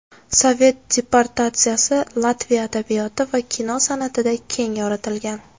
Sovet deportatsiyasi Latviya adabiyoti va kino san’atida keng yoritilgan.